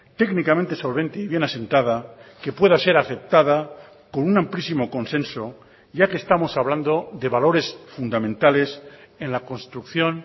técnicamente solvente y bien asentada que pueda ser aceptada con un amplísimo consenso ya que estamos hablando de valores fundamentales en la construcción